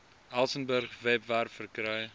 elsenburg webwerf verkry